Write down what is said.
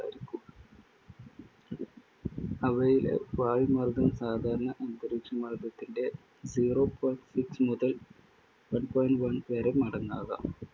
അവയിലെ വായുമർദ്ദം സാധാരണ അന്തരീക്ഷമർദ്ദത്തിന്റ സീറോ point സിക്സ് മുതൽ വൺ point വൺ വരെ മടങ്ങാകാം.